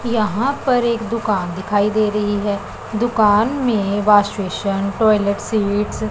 यहां पर एक दुकान दिखाई दे रही है दुकान में वाशविसन टॉयलेट सीट्स --